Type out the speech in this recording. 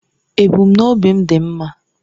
Ebumnobi m dị mma.